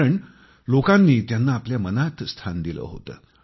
कारण लोकांनी त्यांना आपल्या मनात स्थान दिलं होतं